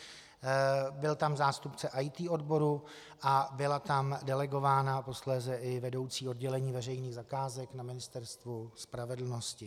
Byl tam zástupce IT odboru a byla tam delegována posléze i vedoucí oddělení veřejných zakázek na Ministerstvu spravedlnosti.